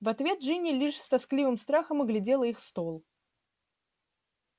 в ответ джинни лишь с тоскливым страхом оглядела их стол